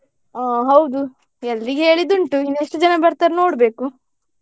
ಆ ಹೌದು ಎಲ್ರಿಗೆ ಹೇಳಿದ್ದುಂಟು ಇನ್ನು ಎಷ್ಟು ಜನ ಬರ್ತಾರೆ ನೋಡ್ಬೇಕು.